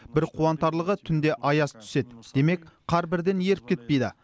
бір қуантарлығы түнде аяз түседі демек қар бірден еріп кетпейді